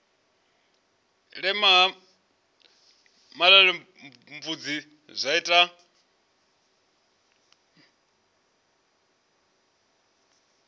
mela ha malelebvudzi zwa ita